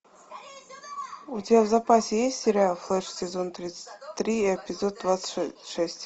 у тебя в запасе есть сериал флэш сезон тридцать три эпизод двадцать шесть